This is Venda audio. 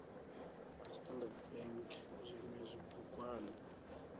a standard bank zwinwe zwibugwana